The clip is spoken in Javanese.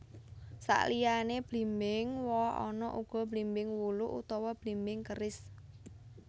Saliyané blimbing woh ana uga blimbing wuluh utawa blimbing keris